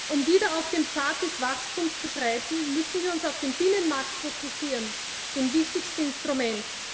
Um wieder auf dem Pfad des Wachstums zu schreiten, müssen wir uns auf den Binnenmarkt fokussieren, das wichtigste Instrument.